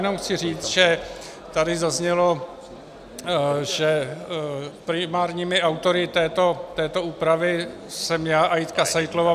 Jenom chci říct, že tady zaznělo, že primárními autory této úpravy jsme já a Jitka Seitlová.